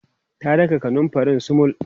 ta daka kanumfarin sumul